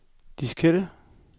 diskette